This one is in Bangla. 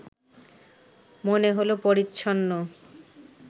মনে হলো পরিচ্ছন্ন